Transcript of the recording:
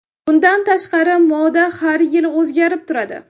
Bundan tashqari, moda har yili o‘zgarib turadi.